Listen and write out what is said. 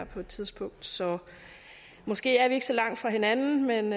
på et tidspunkt så måske er vi ikke så langt fra hinanden men